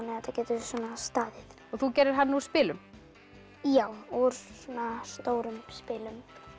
þetta geti staðið þú gerðir hann úr spilum já úr svona stórum spilum